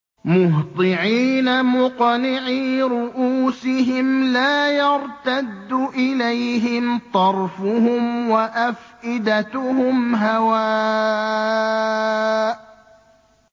مُهْطِعِينَ مُقْنِعِي رُءُوسِهِمْ لَا يَرْتَدُّ إِلَيْهِمْ طَرْفُهُمْ ۖ وَأَفْئِدَتُهُمْ هَوَاءٌ